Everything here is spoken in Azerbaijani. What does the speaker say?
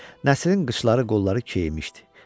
Nəsirin qıçları, qolları keyimişdi.